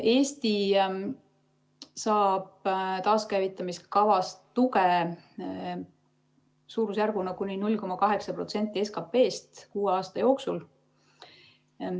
Eesti saab taaskäivitamise kavast tuge suurusjärgus kuni 0,8% SKP‑st kuue aasta jooksul.